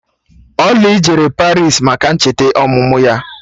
Oly jere Paris maka ncheta ọmụmụ ya